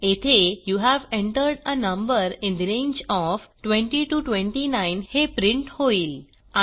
येथे you have entered a number in the range of 20 29 हे print होईल